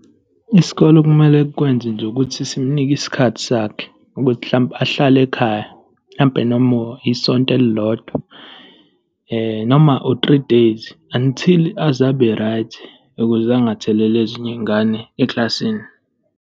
Isikole okumele kukwenze nje ukuthi simunike isikhathi sakhe ukuthi mhlawumpe ahlale ekhaya, mhlampe noma isonto elilodwa noma u-three days, until aze abe right, ukuze angatheleli ezinye iy'ngane eklasini.